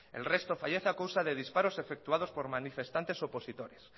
el resto fallece a causa de disparos efectuados por manifestantes opositores